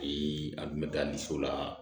an tun bɛ taa ni so la